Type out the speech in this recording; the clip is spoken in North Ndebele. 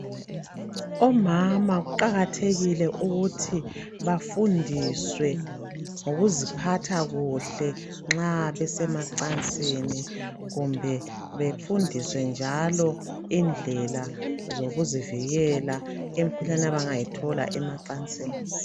Omama kuqakathekile ukuthi bafundiswe ngokuziphatha kuhle nxa besemacansini kumbe befundiswe njalo indlela zokuzivikela emikhuhlaneni abangayithola emacansini.